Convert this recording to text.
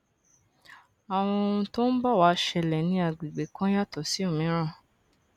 àwọn ohun tó ń bọ wá ṣẹlẹ ní àgbègbè kan yàtò sí òmíràn